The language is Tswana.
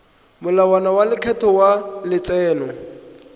molao wa lekgetho wa letseno